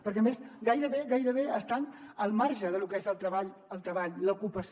perquè a més gairebé gairebé estan al marge de lo que és el treball l’ocupació